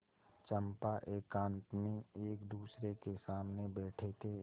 चंपा एकांत में एकदूसरे के सामने बैठे थे